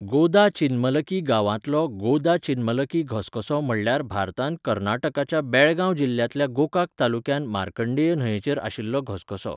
गोदाचिन्मलकी गांवांतलो गोदाचिन्मलकी घसघसो म्हटल्यार भारतांत कर्नाटकाच्या बेळगांव जिल्ल्यांतल्या गोकाक तालुक्यांत मार्कंडेय न्हंयेचेर आशिल्लो घसघसो.